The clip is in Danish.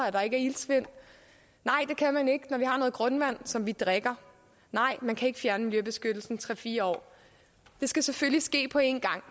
at der ikke er iltsvind nej det kan man ikke når vi har noget grundvand som vi drikker nej man kan ikke fjerne miljøbeskyttelsen i tre fire år det skal selvfølgelig ske på én gang